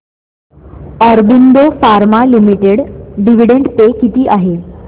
Aurobindo pharma limited dividend pay किती आहे